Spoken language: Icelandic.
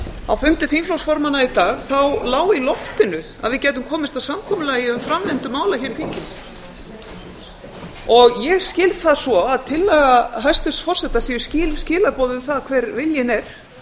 á fundi þingflokksformanna í dag lá í loftinu að við gætum komist að samkomulagi um framvindu mála hér í þinginu ég skil það svo að tillaga hæstvirts forseta séu skýr skilaboð um það hver viljinn er